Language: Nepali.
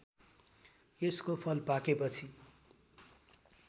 यसको फल पाकेपछि